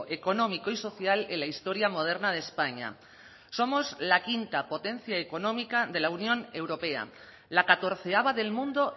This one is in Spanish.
económico y social en la historia moderna de españa somos la quinta potencia económica de la unión europea la catorceava del mundo